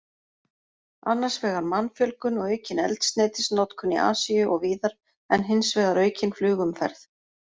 Annars vegar mannfjölgun og aukin eldsneytisnotkun í Asíu og víðar, en hins vegar aukin flugumferð.